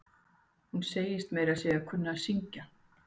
Hún segist meira að segja kunna að syngj.